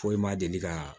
Foyi ma deli ka